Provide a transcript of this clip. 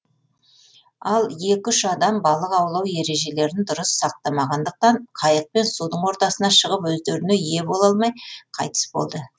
ал екі үш адам балық аулау ережелерін дұрыс сақтамағандықтан қайықпен судың ортасына шығып өздеріне ие бола алмай қайтыс болды